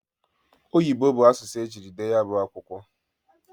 Oyibo bụ asụsụ e jiri dee ya bụ akwụkwọ.